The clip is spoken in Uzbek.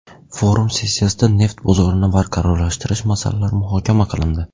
Forum sessiyasida neft bozorini barqarorlashtirish masalalari muhokama qilindi.